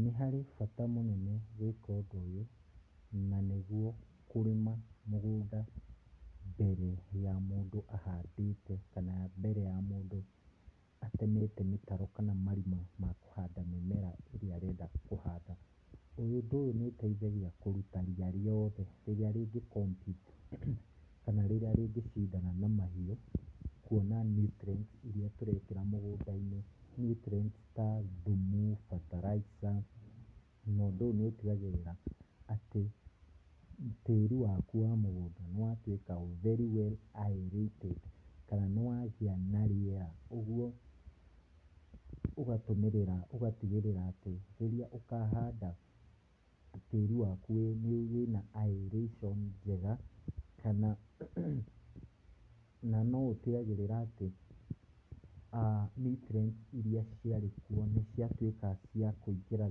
Nĩ harĩ bata mũnene gwĩka ũndũ ũyũ, na nĩguo kũrĩma mũgũnda, mbere ya mũndũ ahandĩte, kana mbere ya mũndũ atemete mĩtaro, kana marima makũhanda mĩmera ĩrĩa arenda kũhanda, ũyũ ũndũ ũyũ nĩ ũteithagia kũruta ria rĩothe rĩrĩa rĩngĩ compete [çs] kana rĩrĩa rĩngĩcindana na mahiũ, kuona nutrients iria tũrekĩra mũgũnda-inĩ nutrients ta thumu, bataraica, na ũndũ ũyũ nĩ ũtigagĩrĩra atĩ, tĩri waku wa mũgũnda nĩ watuĩka very well aerated kana nĩ wagĩa na rĩera ũguo, ũgatũmĩrĩra ũgatigĩrĩra atĩ, rĩrĩa ũkahanda tĩri waku wĩ wĩna aeration njega, kana na no ũtigagĩrĩra atĩ, aah nutrients iria ciarĩ kuo nĩ ciatuĩka cia kũingĩra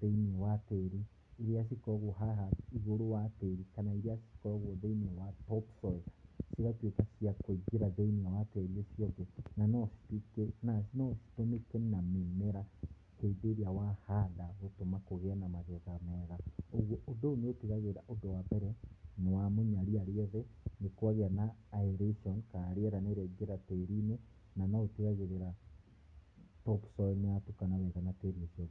thĩinĩ wa tíĩri, iria cikoragwo haha igũrũ wa tĩri, kana iria cikoragwo thĩinĩ wa top soil cigatuĩka cia kũingĩra thĩinĩ wa tĩri ũcio ũngĩ, na no cituĩke na no citũmĩke na mĩmera, hĩndĩ ĩrĩa wahanda gũtũma kũgĩe na magetha mega, ũguo ũndũ ũyũ nĩ ũtigagĩrĩra ũndũ wa mbere ,nĩ wamunya riya riothe, nĩ kwagĩa na aeration, ka rĩera nĩriaingĩra tĩri-inĩ, na no ũtigagĩrĩra top soil nĩ yatukana wega na tĩri ũcio ũngĩ.